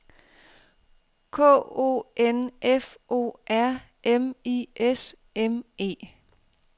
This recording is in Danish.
K O N F O R M I S M E